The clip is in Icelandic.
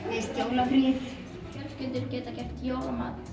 finnst jólafríið fjölskyldur geta gert jólamat